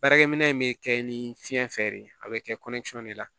Baarakɛ minɛ in bɛ kɛ ni fiɲɛ fɛ de a bɛ kɛ de la